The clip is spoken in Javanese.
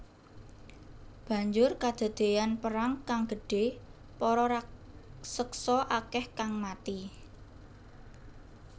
Banjur kadadéyan perang kang gedhé para raseksa akèh kang mati